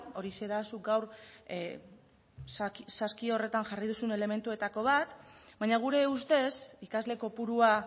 horixe da zuk gaur saski horretan jarri duzun elementuetako bat baina gure ustez ikasle kopurua